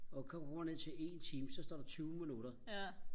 og kommer ned til en time så står der tyve minutter